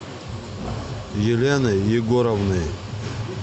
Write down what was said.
еленой егоровной